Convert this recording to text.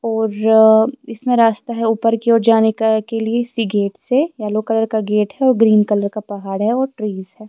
. اورآ اسمے راستے ہیں اپر کی اور جانے کا کے لئے سی گیٹ سے یلو کلر کا گیٹ ہیں اور گرین کلر کا پہاد ہیں اور ٹریس ہیں